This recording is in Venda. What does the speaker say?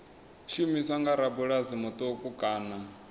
shumiswa nga rabulasi muṱuku kana